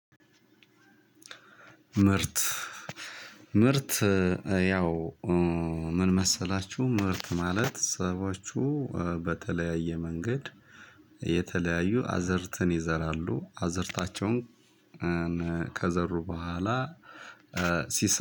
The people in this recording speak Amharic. ምርት ምርት ያው ምን መሰላችሁ? ምርት ማለት ሰባችሁ በተለያየ መንገድ የተለያዩ አዘርትን ይዘራሉ አዘርታቸውን። ከዘሩ በኋላ ሲሰ